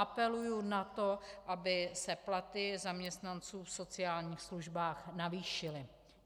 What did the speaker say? Apeluji na to, aby se platy zaměstnanců v sociálních službách zvýšily.